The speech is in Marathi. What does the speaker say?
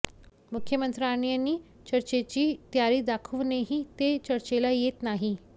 मुख्यमंत्र्यांनी चर्चेची तयारी दाखवूनही ते चर्चेला येत नाही